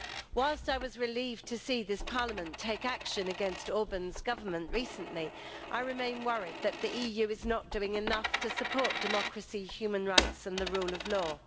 Whilst I was relieved to see this Parliament take action against Orbán's Government recently, I remain worried that the EU is not doing enough to support democracy, human rights and the rule of law.